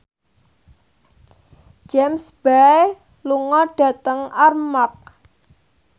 James Bay lunga dhateng Armargh